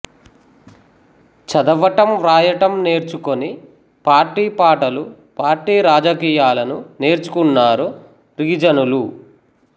చదవటాం వ్రాయడం నేర్చుకొని పార్టీ పాటలుపార్టీ రాజకీయాలను నేర్చుకున్నారు రిగిజనులు